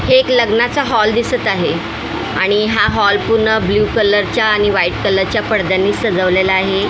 हे एक लग्नाचा हॉल दिसत आहे आणि हा हॉल पूर्ण ब्ल्यू कलरच्या आणि व्हाईट कलरच्या पडद्यांनी सजवलेला आहे.